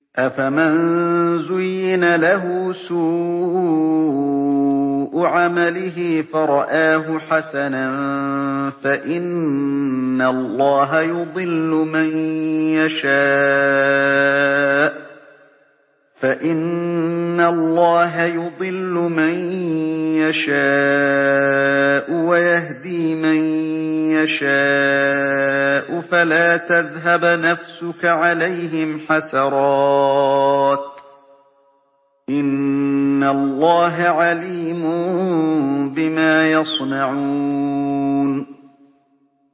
أَفَمَن زُيِّنَ لَهُ سُوءُ عَمَلِهِ فَرَآهُ حَسَنًا ۖ فَإِنَّ اللَّهَ يُضِلُّ مَن يَشَاءُ وَيَهْدِي مَن يَشَاءُ ۖ فَلَا تَذْهَبْ نَفْسُكَ عَلَيْهِمْ حَسَرَاتٍ ۚ إِنَّ اللَّهَ عَلِيمٌ بِمَا يَصْنَعُونَ